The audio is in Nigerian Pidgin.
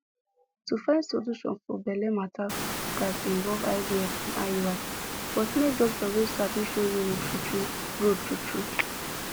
to find solution for belle matter gats involve ivf and iui but make doctor wey sabi show you road true true road true true